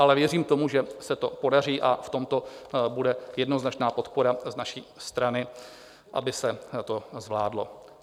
Ale věřím tomu, že se to podaří, a v tomto bude jednoznačná podpora z naší strany, aby se to zvládlo.